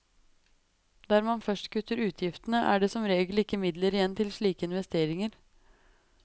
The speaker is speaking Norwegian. Der man først kutter utgiftene, er det som regel ikke midler igjen til slike investeringer.